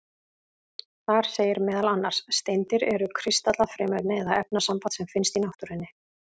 Þar segir meðal annars: Steindir eru kristallað frumefni eða efnasamband sem finnst í náttúrunni.